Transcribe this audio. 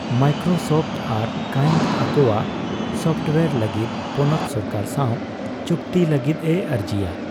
Microsoft ᱟᱨ kind ᱟᱠᱚᱣᱟᱜ software ᱞᱟᱹᱜᱤᱫ ᱯᱚᱱᱚᱛ ᱥᱚᱨᱠᱟᱨ ᱥᱟᱣ ᱪᱩᱠᱛᱤ ᱞᱟᱹᱜᱤᱫ ᱮ ᱟᱹᱨᱡᱤᱭᱟ ᱾